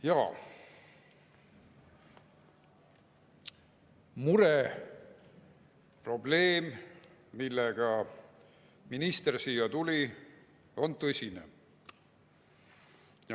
Jaa, mure, probleem, millega minister siia tuli, on tõsine.